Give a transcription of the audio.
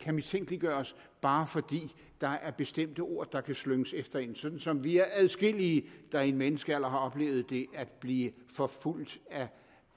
kan mistænkeliggøres bare fordi der er bestemte ord der kan slynges efter en sådan som vi er adskillige der i en menneskealder har oplevet det at blive forfulgt af